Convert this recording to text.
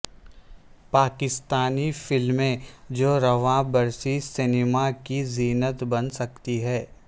پاکستانی فلمیں جو رواں برس سنیما کی زینت بن سکتی ہیں